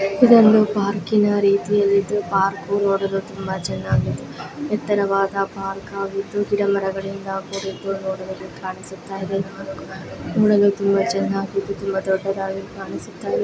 ಇದೊಂದು ಪಾರ್ಕ್ ಇನ ರೀತಿಯಲ್ಲಿದ್ದು ಪಾರ್ಕ್ ನೋಡಲು ತುಂಬಾ ಚೆನ್ನಾಗಿ. ಇತರವಾದ ಪಾರ್ಕ್ ಆಗಿದ್ದು ಗಿಡ ಮರಗಳಿಂದ ಕೂಡಿದ್ದು ನೋಡಿರುದು ಕಾಣಿಸುತ್ತಾಯಿದೆ. ನೋಡಲು ತುಂಬಾ ಚೆನ್ನಾಗಿ ತುಂಬಾ ದೊಡ್ಡದಾಗಿ ಕಾಣಿಸುತ್ತಾ --